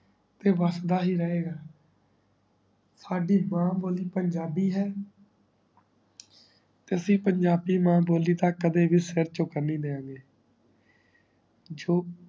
ਤੇ ਵਸਦਾ ਹੀ ਰਹੇ ਗਾ ਸਾਡੀ ਮਾਂ ਬੋਲੀ ਪੰਜਾਬੀ ਹੈ ਤੇ ਅਸੀਂ ਪੰਜਾਬੀ ਮਾਂ ਬੋਲੀ ਦਾ ਕਦੇ ਵੀ ਸਿਰ ਚੁਕਨ ਨਈ ਦੇਣਗੇ